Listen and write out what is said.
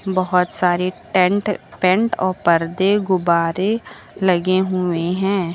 बहुत सारे tent paint और पर्दे गुब्बारे लगे हुए हैं।